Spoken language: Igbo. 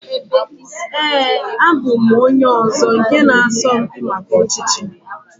Ee, abụ m onye ọzọ nke na asọ mpi maka ọchịchị